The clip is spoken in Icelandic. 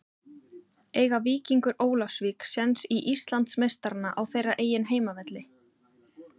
Eiga Víkingur Ólafsvík séns í Íslandsmeistarana á þeirra eigin heimavelli?